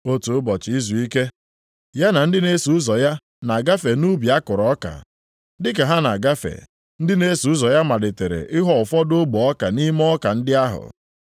Otu ụbọchị izuike, ya na ndị na-eso ụzọ ya na-agafe nʼubi a kụrụ ọka. Dị ka ha na-agafe, ndị na-eso ụzọ ya malitere ịghọ ụfọdụ ogbe ọka nʼime ọka ndị ahụ.